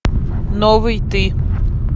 новый ты